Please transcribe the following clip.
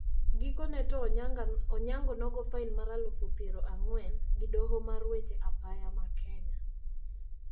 Gikone to Onyango nogoo fain mar aluf piero ang`wen gi doho mar weche apaya ma Kenya.